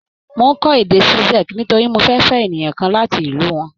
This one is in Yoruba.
Mò ń kọ́ èdè Czech nítorí mo fẹ́ fẹ́ ènìyàn kan láti ìlú wọn.